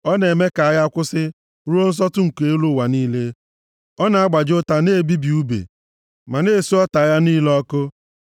Ọ na-eme ka agha kwụsị ruo nsọtụ nke elu ụwa niile. Ọ na-agbaji ụta, na-ebibi ùbe, ma na-esu ọta + 46:9 Maọbụ, ụgbọ agha agha niile ọkụ.